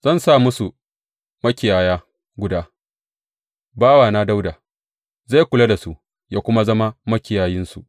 Zan sa musu makiyaya guda, bawana Dawuda, zai kuwa lura da su; zai kula da su ya kuma zama makiyayinsu.